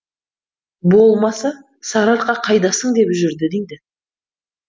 болмаса сарыарқа қайдасың деп жүрді дейді